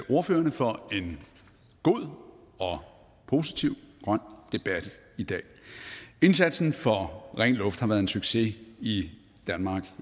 ordførerne for en god og positiv grøn debat i dag indsatsen for ren luft har været en succes i danmark